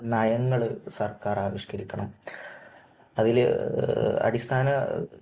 നയങ്ങൾ സർക്കാർ ആവിഷ്കരിക്കണം. അതിൽ അടിസ്ഥാന